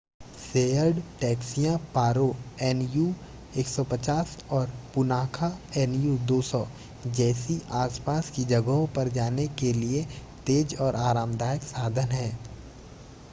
shared टैक्सियाँ Paro nu 150 और Punakha nu 200 जैसी आस-पास की जगहों पर जाने के लिए तेज़ और आरामदायक साधन हैं